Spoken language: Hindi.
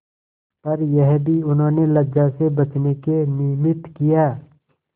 पर यह भी उन्होंने लज्जा से बचने के निमित्त किया